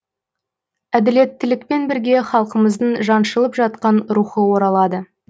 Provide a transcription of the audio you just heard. әділеттілікпен бірге халқымыздың жаншылып жатқан рухы оралады